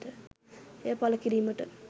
එය පළ කිරීමට